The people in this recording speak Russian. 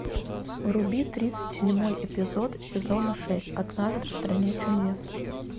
вруби тридцать седьмой эпизод сезона шесть однажды в стране чудес